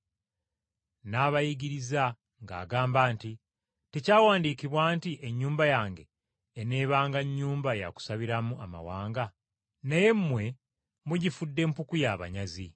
N’abayigiriza ng’agamba nti, “Tekyawandiikabwa nti, ‘Ennyumba yange eneebanga nnyumba ya kusabiramu amawanga?’ Naye mmwe mugifudde mpuku y’abanyazi.”